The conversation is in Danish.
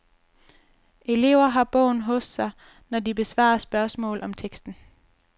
Elever har bogen hos sig, når de besvarer spørgsmål om teksten.